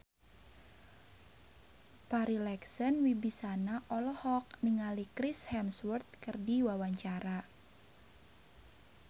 Farri Icksan Wibisana olohok ningali Chris Hemsworth keur diwawancara